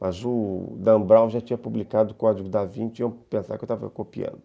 Mas o Dan Brown já tinha publicado o Código da Vinte e eu pensava que estava copiando.